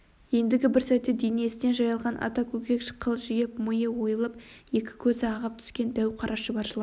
ендігі бір сәтте денесіне жайылған ата көкек қылжиып миы ойылып екі көзі ағып түскен дәу қара шұбар жылан